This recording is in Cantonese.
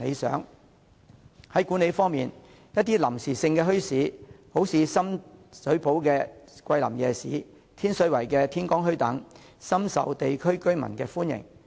在管理方面，一些臨時墟市，例如深水埗的桂林夜市和天水圍的天光墟，都深受地區居民歡迎。